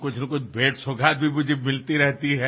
কিন্তু সময়ৰ ইমান ব্যস্ততা আছিল যে মই যাব নোৱাৰিলো